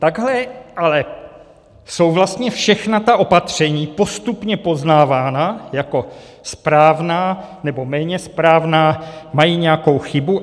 Takhle ale jsou vlastně všechna ta opatření postupně poznávána jako správná, nebo méně správná, mají nějakou chybu.